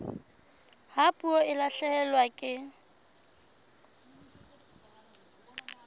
ha puo e lahlehelwa ke